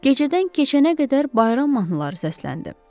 Gecədən keçənə qədər bayram mahnıları səsləndi.